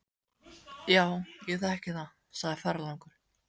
Já, ég þekki það, segir ferðalangur.